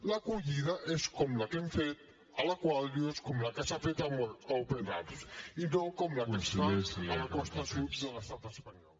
l’acollida és com la que hem fet a l’aquarius com la que s’ha fet amb open arms i no com la que es fa a la costa sud de l’estat espanyol